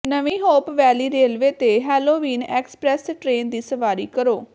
ਨਵੀਂ Hope Valley railway ਤੇ Halloween express train ਦੀ ਸਵਾਰੀ ਕਰੋ